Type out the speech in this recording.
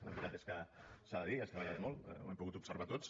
la veritat és que s’ha de dir has treballat molt ho hem pogut observar tots